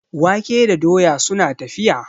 wake da doya suna tafiya